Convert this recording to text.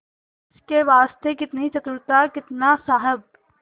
इसके वास्ते कितनी चतुरता कितना साहब